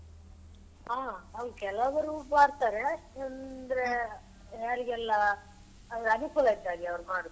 ಹ ಹೌದು ಕೆಲವರು ಮಾಡ್ತಾರೆ ಅಂದ್ರೆ ಯಾರಿಗೆಲ್ಲ ಅದು ಅನುಕೂಲ ಇದ್ದ ಹಾಗೆ ಅವರು ಮಾಡುದು.